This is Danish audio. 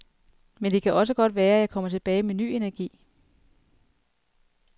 Men det kan også godt være jeg kommer tilbage med ny energi.